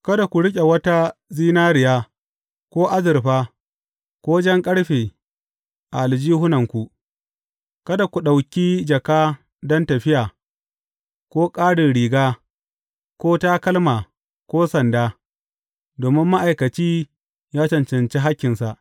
Kada ku riƙe wata zinariya ko azurfa ko jan ƙarfe a aljihunanku, kada ku ɗauki jaka don tafiya, ko ƙarin riga, ko takalma ko sanda; domin ma’aikaci ya cancanci hakkinsa.